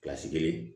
kelen